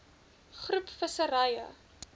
groep visserye